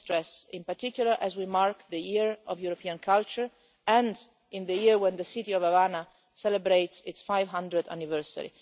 Let me stress in particular as we mark the year of European Culture and in the year when the City of Havana celebrates its 500th anniversary.